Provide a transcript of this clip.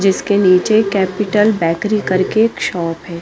जीसके निचे capital bakery कर के एक शॉप है।